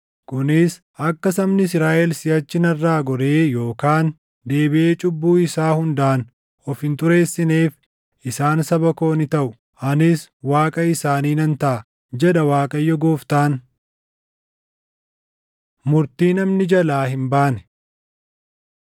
Kunis akka sabni Israaʼel siʼachi narraa goree yookaan deebiʼee cubbuu isaa hundaan of hin xureessineef. Isaan saba koo ni taʼu; anis Waaqa isaanii nan taʼa, jedha Waaqayyo Gooftaan.’ ” Murtii Namni Jalaa Hin baane